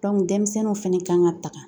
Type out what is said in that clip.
denmisɛnninw fɛnɛ kan ka tanga